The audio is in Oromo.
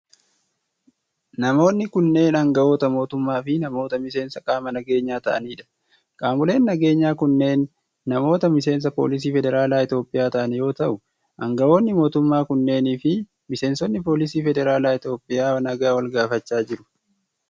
Namoonni kunneen aangawoota mootummaa fi namoota miseensa qaama nageenyaa ta'anii dha. Qaamoleen nageenyaa kunneen namoota miseensa poolisii federaalaa Itoophiyaa ta'an yoo ta'u, aangawoonni mootummaa kunneenii fi miseensonni poolisii federaalaa Itoophiyaa nagaa wal gaafachaa jiru.